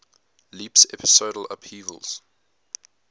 leaps episodal upheavals